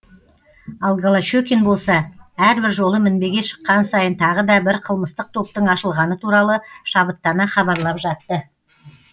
ал голощекин болса әрбір жолы мінбеге шыққан сайын тағы да бір қылмыстық топтың ашылғаны туралы шабыттана хабарлап жатты